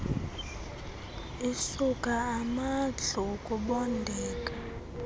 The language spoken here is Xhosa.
isuka amadlu ukubondeka